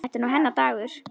Þetta er nú hennar dagur.